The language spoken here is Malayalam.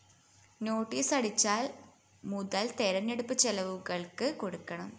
നോട്ടീസടിച്ചാല്‍ മുതല്‍ തെരഞ്ഞെടുപ്പ്‌ ചെലവുകള്‍ക്ക്‌ കൊടുക്കണം